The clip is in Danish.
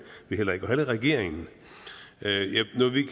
og heller ikke regeringen